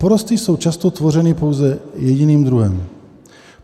Porosty jsou často tvořeny pouze jediným druhem.